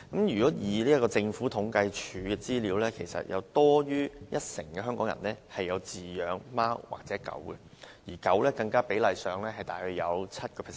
根據政府統計處的資料，有多於一成香港人飼養貓或狗，而養狗人士更約佔人口 7%。